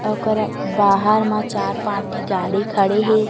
ओकर बाहर मा चार पाँच ठी गाडी खड़े हे।